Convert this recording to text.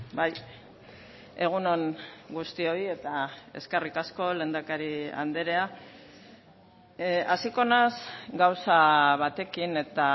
bai egun on guztioi eta eskerrik asko lehendakari andrea hasiko naiz gauza batekin eta